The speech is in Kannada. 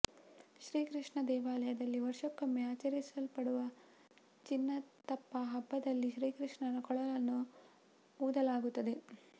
ಶ್ರೀಕೃಷ್ಣ ದೇವಾಲಯದಲ್ಲಿ ವರ್ಷಕ್ಕೊಮ್ಮೆ ಆಚರಿಸಲ್ಪಡುವ ಚಿನ್ನತಪ್ಪ ಹಬ್ಬದಲ್ಲಿ ಶ್ರೀಕೃಷ್ಣನ ಕೊಳಲನ್ನು ಊದಲಾಗುತ್ತದೆ